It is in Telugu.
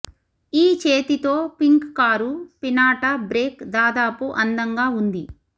ఈ చేతితో పింక్ కారు పినాట బ్రేక్ దాదాపు అందంగా ఉంది